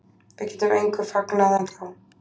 Við getum engu fagnað ennþá